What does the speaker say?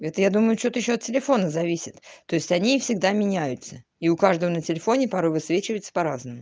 это я думаю что то от телефона зависит то есть они всегда меняются и у каждого на телефоне пароль высвечивается по разному